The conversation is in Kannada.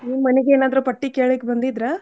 ನಿಮ್ ಮನೀಗ್ ಏನಾದ್ರೂ ಪಟ್ಟಿ ಕೇಳ್ಲಿಕ್ ಬಂದಿದ್ರಾ?